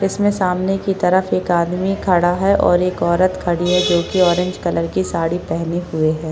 इसमें सामने की तरफ एक आदमी खड़ा है और एक औरत खड़ी है जोकि ऑरेंज कलर की साड़ी पहनी हुए है।